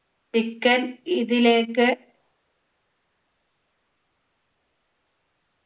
chicken ഇതിലേക്ക്